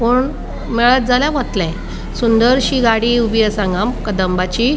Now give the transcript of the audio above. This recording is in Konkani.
कोण मेळत जाल्या वतले सुंदरशी गाड़ी ऊबी आसा हांगा कदबाची.